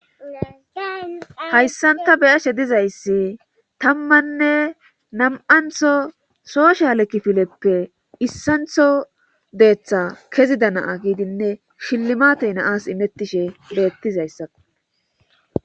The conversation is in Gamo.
hayssanta beyashe dizayssi tammanne nam7antho soosha lekkifileppe issantho deeththa kezida naa giidinne shillimatey naas imettishe leettizayssa